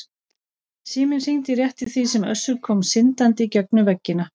Síminn hringdi rétt í því sem Össur kom syndandi í gegnum veggina.